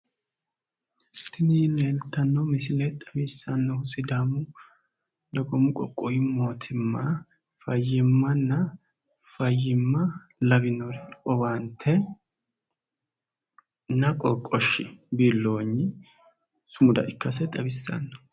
Tini leeltanno misile xawissannohu sidaamu dagoomu qoqqowu mootimma fayyimmanna fayyimma lawinori owaantenna qorqoshshi biilloonyi sumuda ikkase xawissanno.